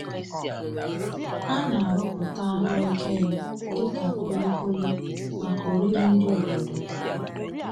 A na-arụpụta ahụ ekere dịka kulikuli maka oriri ndị obodo.